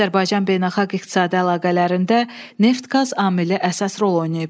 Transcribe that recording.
Azərbaycan beynəlxalq iqtisadi əlaqələrində neft-qaz amili əsas rol oynayıb.